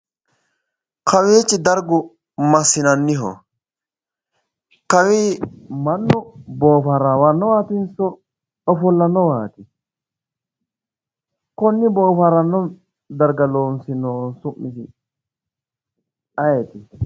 Kawiichi dargu massinanniho kawii mannu boohaarannowaatinso ofallannowaati konne boohaarranno darga loosinohu su'misi yeeti